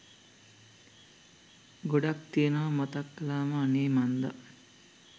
ගොඩක් තියෙනවා මතක් කලාම අනේ මන්ද.